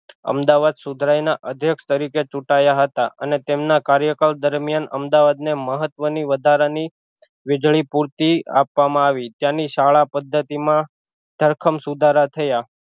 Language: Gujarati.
અમદાવાદ સુધરાઇ ના અધ્યક્ષ તરીકે ચુટાયા હતા અને તેમના કાર્યકાળ દરમિયાન અમદાવાદ ને મહત્વ ની વધારા ની વીજળી પૂરતી આપવામાં આવી ત્યાં ની શાળા પદ્ધતિ માં ભરખમ સુધારા થયા